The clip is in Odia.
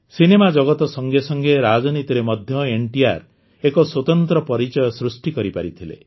ସିନେମା ଜଗତ ସଙ୍ଗେ ସଙ୍ଗେ ରାଜନୀତିରେ ମଧ୍ୟ ଏନ୍ଟିଆର୍ ଏକ ସ୍ୱତନ୍ତ୍ର ପରିଚୟ ସୃଷ୍ଟି କରିପାରିଥିଲେ